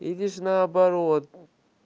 или же наоборот